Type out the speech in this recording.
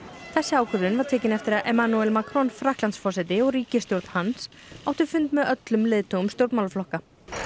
þessi ákvörðun var tekin eftir að Emmanuel Macron Frakklandsforseti og ríkisstjórn hans áttu fund með öllum leiðtogum stjórnmálaflokka